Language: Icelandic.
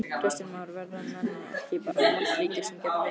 Kristján Már: Verða menn ekki bara moldríkir sem geta veitt?